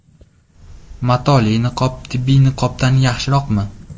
Matoli niqob tibbiy niqobdan yaxshiroqmi?